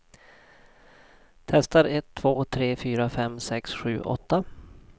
Testar en två tre fyra fem sex sju åtta.